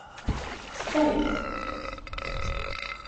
спайк